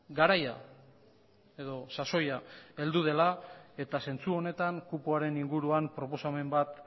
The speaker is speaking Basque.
garaia edo sasoia heldu dela eta zentzu honetan kupoaren inguruan proposamen bat